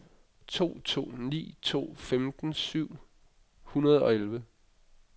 to to ni to femten syv hundrede og elleve